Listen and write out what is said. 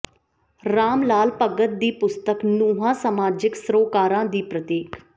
ਰਾਮ ਲਾਲ ਭਗਤ ਦੀ ਪੁਸਤਕ ਨੂੰਹਾਂ ਸਮਾਜਿਕ ਸਰੋਕਾਰਾਂ ਦੀ ਪ੍ਰਤੀਕ